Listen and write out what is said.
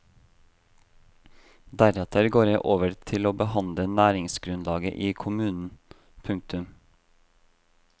Deretter går jeg over til å behandle næringsgrunnlaget i kommunen. punktum